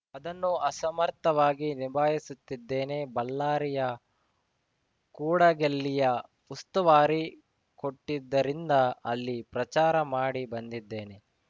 ಅದನ್ನು ಅಸಮರ್ಥವಾಗಿ ನಿಭಾಯಿಸುತ್ತಿದ್ದೇನೆ ಬಳ್ಳಾರಿಯ ಕೂಡಗಲ್ಲಿಯ ಉಸ್ತುವಾರಿ ಕೊಟ್ಟಿದ್ದರಿಂದ ಅಲ್ಲಿ ಪ್ರಚಾರ ಮಾಡಿ ಬಂದಿದ್ದೇನೆ